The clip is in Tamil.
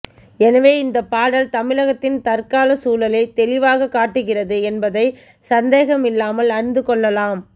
எனவே இந்த பாடல் தமிழகத்தின் தற்கால சூழலை தெளிவாக காட்டுகிறது என்பதை சந்தேகமில்லாமல் அறிந்து கொள்ளலாம்